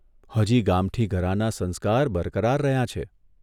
હજી ગામઠી ઘરાનાં સંસ્કાર બરકરાર રહ્યાં છે.